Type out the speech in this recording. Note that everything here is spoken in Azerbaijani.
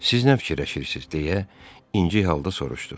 Siz nə fikirləşirsiniz deyə, inci halda soruşdu.